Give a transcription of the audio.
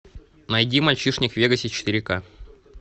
найди мальчишник в вегасе четыре к